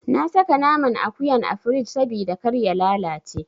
Na saka naman akuyan a firij sabida kar ya lalace.